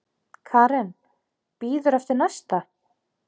Karen: Bíður eftir næsta?